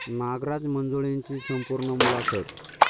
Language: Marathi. नागराज मंजुळेंची संपूर्ण मुलाखत